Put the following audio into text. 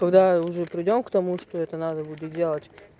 когда уже придём к тому что это надо буду делать